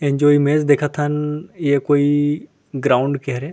एमा जो इमेज देखत हन ये कोई ग्राउंड के हरे--